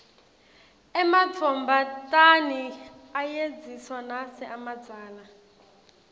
ematfombatane ayedziswa nase amadzala